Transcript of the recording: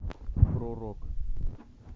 про рок